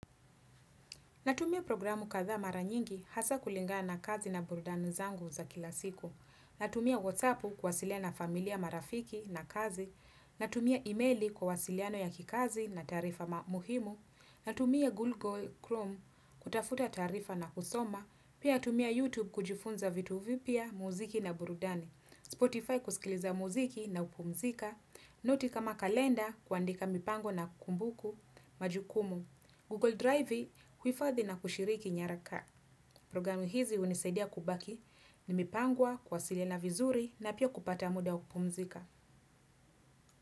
Natumia programu kathaa mara nyingi hasa kulingana kazi na burudani zangu za kila siku. Natumia whatsappu kuwasiliana familia marafiki na kazi. Natumia emaili kwa uwasiliano ya kikazi na tarifa muhimu. Natumia Google Chrome kutafuta tarifa na kusoma. Pia tumia YouTube kujifunza vitu vipya muziki na burudani. Spotify kusikiliza muziki na upumzika. Noti kama kalenda kuandika mipango na kumbuku majukumu. Google Drive kuifadhi na kushiriki nyaraka. Programu hizi unisaidia kubaki ni mipangwa kuwasiliana na vizuri na pia kupata muda kupumzika.